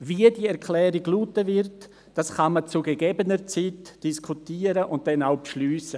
Darüber, wie diese Erklärung lauten wird, kann man zu gegebener Zeit diskutieren und dann auch beschliessen;